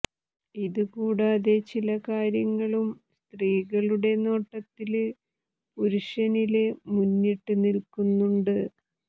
ഇത് കൂടാതെ ചില കാര്യങ്ങളും സ്ത്രീകളുടെ നോട്ടത്തില് പുരുഷനില് മുന്നിട്ട് നില്ക്കുന്നുണ്ട്